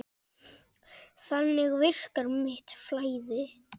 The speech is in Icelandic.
Þannig virkar mitt flæði.